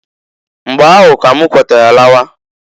Mgba ahụ k'm kwetara lawa.